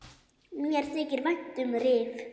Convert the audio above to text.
Mér þykir vænt um Rif.